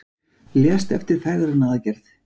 Lést eftir fegrunaraðgerð